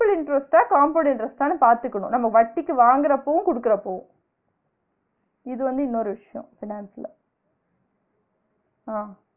simple interest ஆ compound interest ஆன்னு பாத்துகினு நம்ம வட்டிக்கு வாங்குரப்பவு குடுக்குரப்பவு இது வந்து இன்னொரு விஷியோ finance ல ஆ